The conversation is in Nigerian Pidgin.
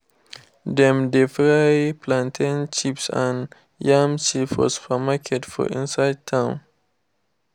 them dey fry plantain chips and yam chips for supermarkets for inside town